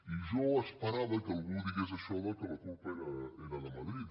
i jo esperava que algú digués això que la culpa era de madrid